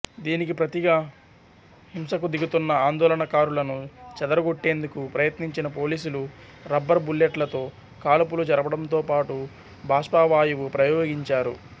దీనికి ప్రతిగా హింసకు దిగుతున్న ఆందోళనకారులను చెదరగొట్టేందుకు ప్రయత్నించిన పోలీసులు రబ్బర్ బుల్లెట్లతో కాల్పులు జరపడంతోపాటు బాష్పవాయువు ప్రయోగించారు